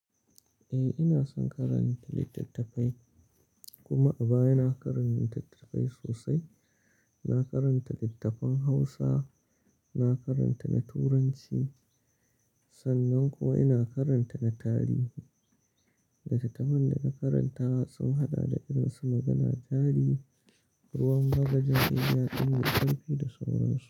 Eh, ina son karanta littattafai kuma a baya na karanta littattafai sosai. Na karanta littafin Hausa, na karanta na Turanci, sannan kuwa ina karanta na tarihi. Littattafan da na karanta sun haɗa da irin su Magana jari, Ruwan bagaja Iya ɗin da Kamfe da sauransu.